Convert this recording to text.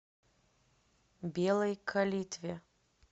белой калитве